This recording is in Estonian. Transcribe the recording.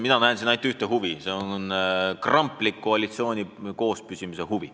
Mina näen siin ainult ühte huvi: see on huvi kramplikult koalitsiooni koos hoida.